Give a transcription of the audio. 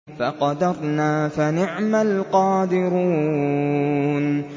فَقَدَرْنَا فَنِعْمَ الْقَادِرُونَ